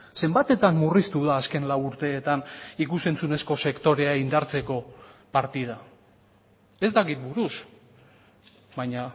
zenbatetan murriztu da azken lau urteetan ikus entzunezko sektorea indartzeko partida ez dakit buruz baina